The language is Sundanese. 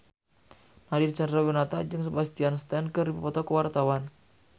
Nadine Chandrawinata jeung Sebastian Stan keur dipoto ku wartawan